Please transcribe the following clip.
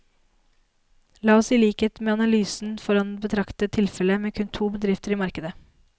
La oss i likhet med analysen foran betrakte tilfellet med kun to bedrifter i markedet.